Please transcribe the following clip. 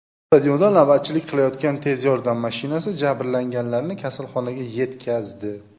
Stadionda navbatchilik qilayotgan tez yordam mashinasi jabrlanganlarni kasalxonaga yetkazdi.